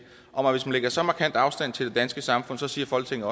om at hvis man lægger så markant afstand til det danske samfund så siger folketinget